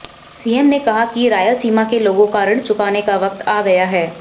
CN ने कहा कि रायलसीमा के लोगों का ऋण चुकाने का वक्त आ गया है